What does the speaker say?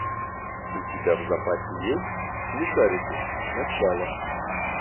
у тебя в запасе есть смешарики начало